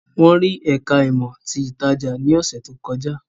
Wọ́n rí ẹ̀ká ìmọ̀ ti ìtajà ní ọ̀sẹ̀ tó kọjá